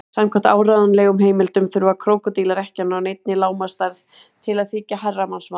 Samkvæmt áreiðanlegum heimildum þurfa krókódílar ekki að ná neinni lágmarksstærð til að þykja herramannsmatur.